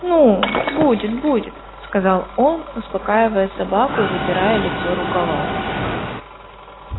ну будет-будет сказал он успокаивая собаку и вытирая лицо рукавом